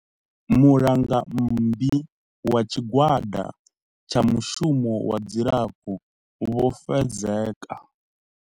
Mulangammbi wa Tshigwada tsha Mushumo wa Dzilafho Vho Fezeka.